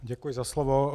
Děkuji za slovo.